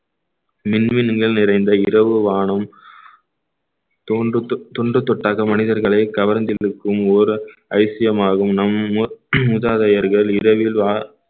மின்மினிங்கள் நிறைந்த இரவு வானம் தொன்று தொ~ தொன்று தொட்டாக மனிதர்களை கவர்ந்து இழுக்கும் ஓர் அதிசயம் ஆகும் நம் மூ~ மூதாதையர்கள் இரவில் வா~